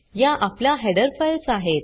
या आपल्या header files आहेत